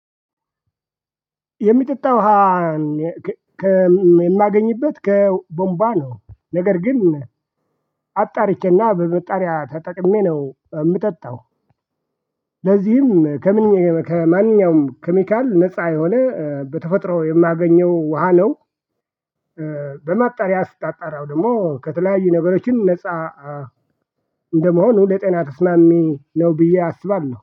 የሚጠጣ ውሃ ከከ የማገኝበት ከቧንቧ ነው ነገር ግን አጣርቼና በማጣሪያ ተጠቅሜ ነው የምጠጣው። ለዚህም ከምን ከማንኛውም ኬሚካል ነፃ የሆነ በተፈጥሮ የማገኘው ውሃ ነው። በማጣሪያ ስታጣራው ደግሞ ከተለያዩ ነገሮችም ነፃ እንደመሆኑ ለጤና ተስማሚ ነው ብዬ አስባለሁ